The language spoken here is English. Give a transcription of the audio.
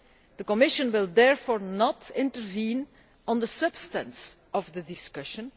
The Commission will therefore not intervene on the substance of the discussion.